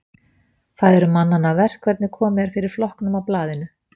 Það eru manna verk hvernig komið er fyrir flokknum og blaðinu.